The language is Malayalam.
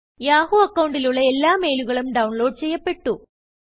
യാഹൂ അക്കൌണ്ടിലുള്ള എല്ലാ മെയിലുകളും ഡൌൺലോഡ് ചെയ്യപ്പെട്ടു